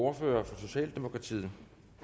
ordfører for socialdemokratiet